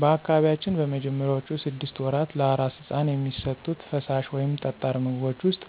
በአካባቢያችን በመጀመሪያዎቹ ስድስት ወራት ለአራስ ሕፃን የሚሰጡት ፈሳሽ ወይም ጠጣር ምግቦች ውስጥ